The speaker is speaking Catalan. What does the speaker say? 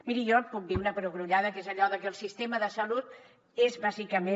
miri jo puc dir una perogrullada que és allò de que el sistema de salut és bàsicament